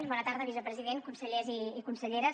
bona tarda vicepresident consellers i conselleres